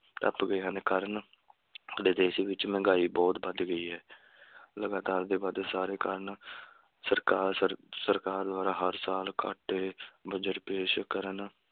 ਟੱਪ ਗਏ ਹਨ, ਕਾਰਨ ਸਾਡੇ ਦੇਸ਼ ਵਿਚ ਮਹਿੰਗਾਈ ਬਹੁਤ ਵੱਧ ਗਈ ਹੈ ਲਗਾਤਾਰ ਦੇ ਵਾਧੇ ਸਾਰੇ ਕਾਰਨ ਸਰਕਾਰ ਸਰ~ ਸਰਕਾਰ ਦੁਆਰਾ ਹਰ ਸਾਲ ਘਾਟੇ ਬੱਜਟ ਪੇਸ਼ ਕਰਨ